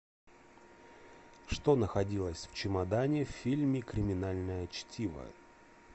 что находилось в чемодане в фильме криминальное чтиво